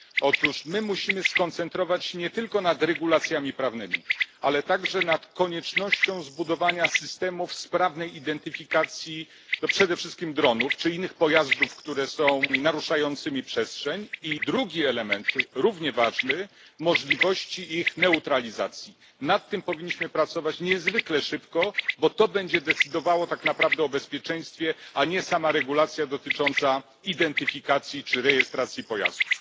Otóż musimy skoncentrować się nie tylko na regulacjach prawnych, ale także na konieczności zbudowania systemów sprawnej identyfikacji przede wszystkim dronów oraz innych pojazdów, które naruszają przestrzeń. Drugi element, równie ważny, dotyczy możliwości ich neutralizacji. Nad tym powinniśmy pracować niezwykle szybko, bo to tak naprawdę będzie decydowało o bezpieczeństwie, a nie same przepisy w zakresie identyfikacji czy rejestracji pojazdów.